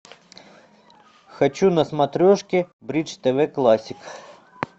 хочу на смотрешке бридж тв классик